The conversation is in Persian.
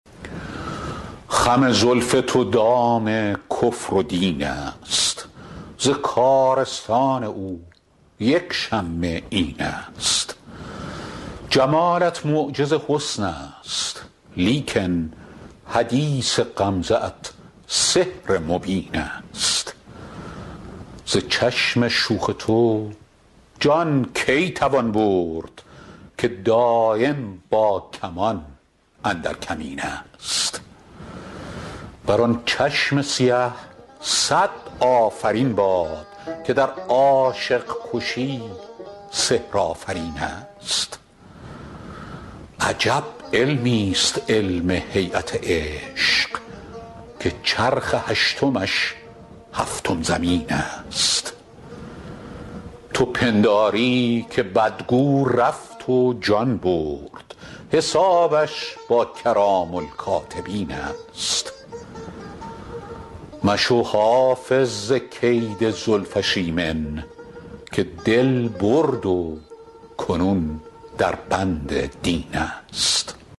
خم زلف تو دام کفر و دین است ز کارستان او یک شمه این است جمالت معجز حسن است لیکن حدیث غمزه ات سحر مبین است ز چشم شوخ تو جان کی توان برد که دایم با کمان اندر کمین است بر آن چشم سیه صد آفرین باد که در عاشق کشی سحرآفرین است عجب علمیست علم هییت عشق که چرخ هشتمش هفتم زمین است تو پنداری که بدگو رفت و جان برد حسابش با کرام الکاتبین است مشو حافظ ز کید زلفش ایمن که دل برد و کنون در بند دین است